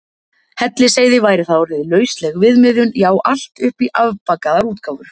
Hellisheiði væri það orðið lausleg viðmiðun, já allt upp í afbakaðar útgáfur.